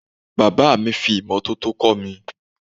Bàbáà mi fi imọ́tótó kọ́ mi.